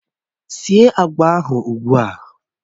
Síé agwa ahụ ugbu a!